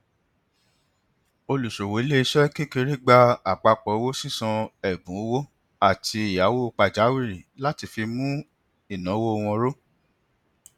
olùṣòwò iléiṣẹ kékeré gba àpapọ owó sísan ẹbùn owó àti ìyáwó pajawìrì láti fi mú ináwó wọn ró